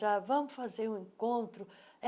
tá vamos fazer um encontro.